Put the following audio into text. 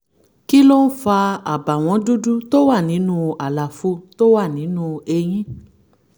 kí ló ń fa àbàwọ́n dúdú tó wà nínú àlàfo tó wà nínú eyín?